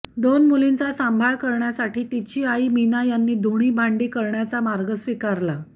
दोन मुलींचा सांभाळ करण्यासाठी तिची आई मीना यांनी धुणी भांडी करण्याचा मार्ग स्विकारला